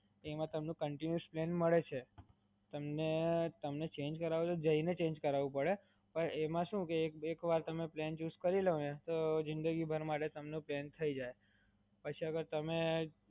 એમાં તમને continue plan મડે છે, તમને ચેંજ કરાવવું હોય તો જઈને ચેંજ કરાવવું પડે, પણ એમ શું કે તમે એક વાર પ્લાન ચૂસ કરી લો ને તો જીંદગીભર માટે તમને પ્લાન થય જાય. પછી હવે તમે